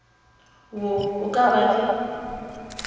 wo o ka ba le